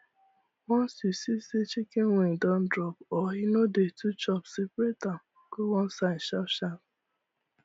once you see say chicken wing don drop or e no dey too chop seperate am go one side sharp sharp